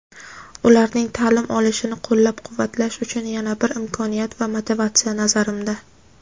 ularning ta’lim olishini qo‘llab-quvvatlash uchun yana bir imkoniyat va motivatsiya, nazarimda.